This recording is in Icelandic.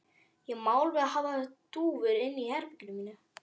Ég má alveg hafa dúfur inni í herberginu mínu.